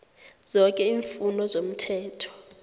zoke iimfuno zomthetho